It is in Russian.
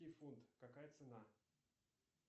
фунт какая цена